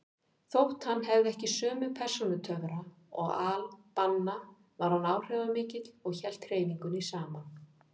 Þótt hann hefði ekki sömu persónutöfra og al-Banna var hann áhrifamikill og hélt hreyfingunni saman.